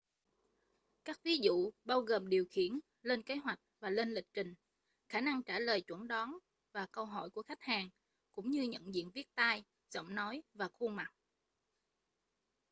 các ví dụ bao gồm điều khiển lên kế hoạch và lên lịch trình khả năng trả lời chẩn đoán và câu hỏi của khách hàng cũng như nhận diện viết tay giọng nói và khuôn mặt